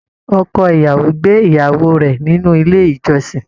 Ọkọ ìyàwó gbé ìyàwó rẹ nínú ilé ìjọsìn.